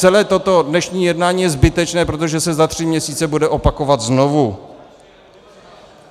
Celé toto dnešní jednání je zbytečné, protože se za tři měsíce bude opakovat znovu.